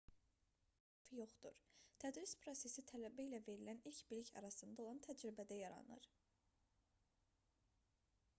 doğrusu öyrənmənin yalnız tək hədəfi yoxdur tədris prosesi tələbə ilə verilən bilik arasında olan təcrübədə yaranır